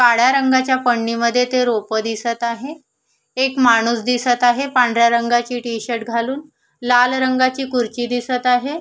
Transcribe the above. काळ्या रंगाच्या पन्नीमध्ये ते रोप दिसत आहे एक माणूस दिसत आहे पांढऱ्या रंगाची टी-शर्ट घालून लाल रंगाची खुर्ची दिसत आहे.